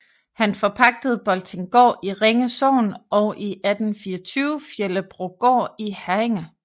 Han forpagtede Boltinggaard i Ringe Sogn og i 1824 Fjellebrogård i Herringe